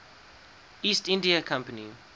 east india company